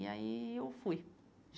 E aí eu fui.